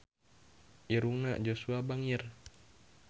Irungna Joshua bangir